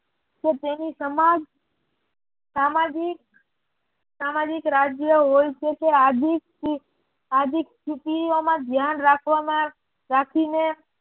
તેની સમાજ સામાજિક રાજ્ય હોય છે આજીક સ્થિતિઓમાં ધ્યાન રાખવામાં રાખીને